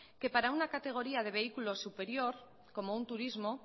que para una categoría de vehículo superior como un turismo